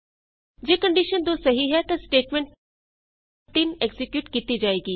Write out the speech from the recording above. ਜੇ ਕੰਡੀਸ਼ਨ 2 ਸਹੀ ਹੈ ਤਾਂ ਸਟੇਟਮੈਂਟ 3 ਐਕਜ਼ੀਕਿਯੂਟ ਕੀਤੀ ਜਾਏਗੀ